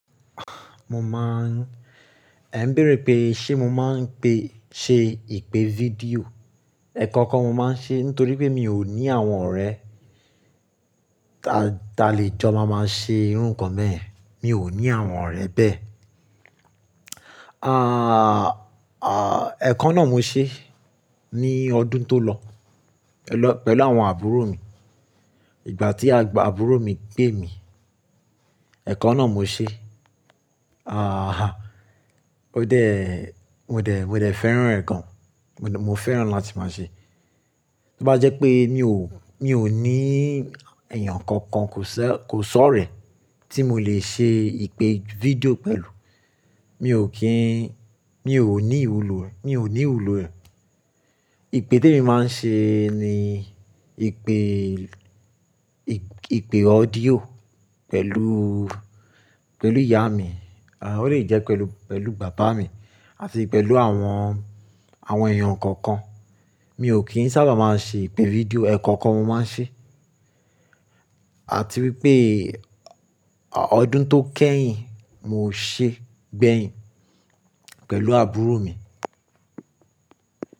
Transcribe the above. Mo máa ń, ẹ̀ ń béèrè pé ṣé mo máa ń ṣe ìpè fídíò. Ẹ̀kokan mo máa ń ṣe nítorí pé mi ò ní àwọn ọ̀rẹ́, ta lè jọ máa ṣe irú nǹkan bẹ́ẹ̀ẹ̀ yen. Mi ò ní àwọn ọ̀rẹ́ bẹ́ẹ̀. Ẹ̀ kan náà mo ṣe, ní ọdún tó lọ pẹ̀lú àwọn àbúrò mi. Ìgbà tí àbúrò mi pè mí, ẹ̀ kan náà mo ṣe. Mo dé fẹ́ràn gan, mo fẹ́ràn láti máa ṣe. Tó bá jẹ́ pé, mi ò ní èèyàn kankan kò si orẹ̀ tí mo lè ṣe ìpè fídíò pẹ̀lú, mi ò ní ìwúlò ẹ̀, Ìpè tí mo máa ń ṣe ni ìpè, ìpè ọ́díò pẹ̀lú ìyá mi, ó lè jẹ́ pẹ̀lú bàbá mi àti pẹ̀lú àwọn èèyàn kankan. Mi ò kín sábà máa ṣe ìpè fídíò, ẹ̀ kọ́kan mo máa ń ṣe. Àti wípé ọdún tó kẹ́yìn mo ṣe gbẹ̀yìn pẹ̀lú àbúrò mi.